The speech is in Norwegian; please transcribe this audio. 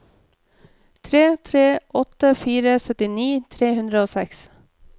tre tre åtte fire syttini tre hundre og seks